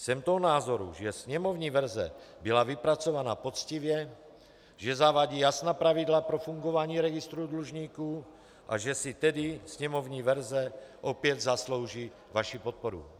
Jsem toho názoru, že sněmovní verze byla vypracována poctivě, že zavádí jasná pravidla pro fungování registru dlužníků, a že si tedy sněmovní verze opět zaslouží vaši podporu.